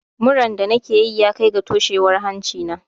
Muran da nake yi ya kai ga toshewar hanci na.